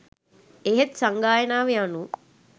එහෙත් සංගායනාව යනු